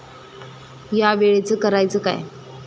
या वेळेचं करायचं काय?